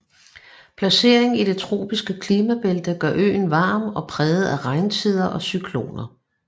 Placeringen i det tropiske klimabælte gør øen varm og præget af regntider og cykloner